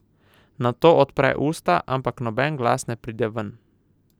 Nato odpre usta, ampak noben glas ne pride ven.